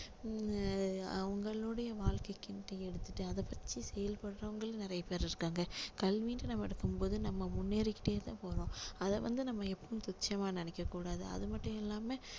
ஆஹ் அவங்களுடைய வாழ்க்கைக்குன்னு எடுத்துட்டு அதை வச்சு செயல்படுறவங்களும் நிறைய பேரு இருக்காங்க கல்வின்னு நம்ம எடுக்கும் போது நம்ம முன்னேறிகிட்டே தான் போறோம் அதை வந்து நம்ம எப்பவுமே துச்சமா நினைக்க கூடாது அது மட்டும் இல்லாம